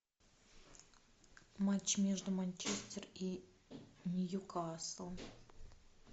матч между манчестер и ньюкасл